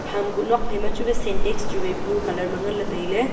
ham kuh nok phai ma chuwai sentax chu wai blue colour ma nganley tailey.